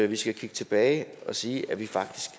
vi skal kigge tilbage og sige at vi faktisk